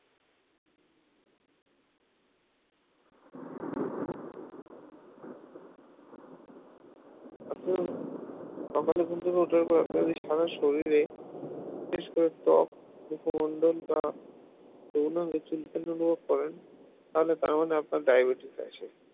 এখন সকালে ঘুম থেকে ওঠার পরে আপনি যদি সারা শরীরে বিশেষ করে ত্বক মুখমণ্ডল বা যৌনাঙ্গে চুলকানো অনুভব করেন তাহলে তার মানে আপনার diabetes আছে